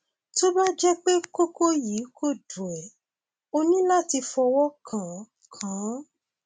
tó bá jẹ pé kókó yìí kò dùn ẹ o ní láti fọwọ kàn án kàn án